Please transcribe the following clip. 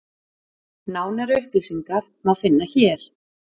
Nánari upplýsingar má finna hér.